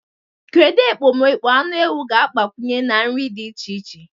Kedu ekpomekpo anụ ewu ga-agbakwunye na nri di iche iche?